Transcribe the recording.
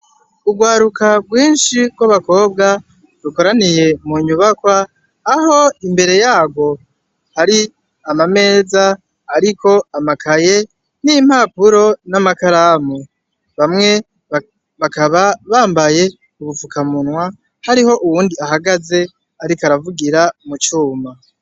Urwaruka rwinshi rw'abakobwa rukoraniye mu nyubakwa, aho imbere yarwo hari amameza ariko amakaye, n'impapuro, n'amakaramu. Bamwe bakaba bambaye ubufukamunwa, hariho uwundi ahagaze, ariko aravugira mu cuma.